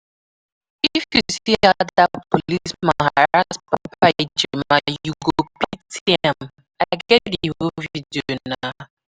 If you see how dat policeman harrass Papa Ejima you go pity am, I get the video nah